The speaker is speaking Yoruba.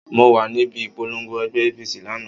Mo wà níbi ìpolongo ẹgbẹ́ APC lánàá.